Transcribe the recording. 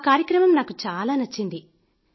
ఆ కార్యక్రమం నాకు చాలా నచ్చింది